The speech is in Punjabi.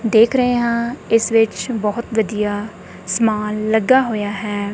ਦੇਖ ਰਹੇ ਹਾਂ ਇਸ ਵਿੱਚ ਬਹੁਤ ਵਧੀਆ ਸਮਾਨ ਲੱਗਾ ਹੋਇਆ ਹੈ।